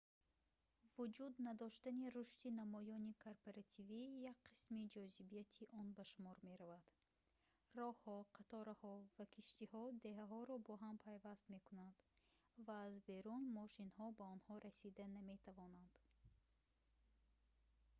вуҷуд надоштани рушди намоёни корпоративӣ як қисми ҷозибияти он ба шумор меравад роҳҳо қатораҳо ва киштиҳо деҳаҳоро бо ҳам пайваст мекунанд ва аз берун мошинҳо ба онҳо расида наметавонанд